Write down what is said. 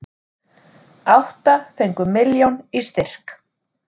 Átta fengu milljón í styrk